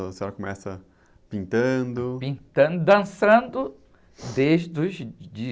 Então a senhora começa pintando...intando, dançando desde os